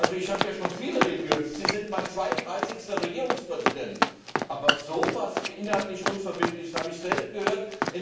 Ich habe ja schon viele Reden gehört Sie sind mein zweiunddreißigster Regierungspräsident aber so etwas inhaltlich Unverbindliches habe ich selten gehört.